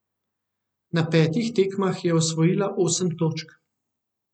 Na petih tekmah je osvojila osem točk.